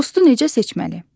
Dostu necə seçməli?